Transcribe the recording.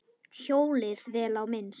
Hjólið, vel á minnst.